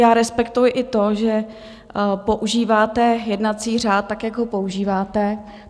Já respektuji i to, že používáte jednací řád, tak jak ho používáte.